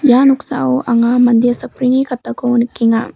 ia noksao anga mande sakbrini katako nikenga.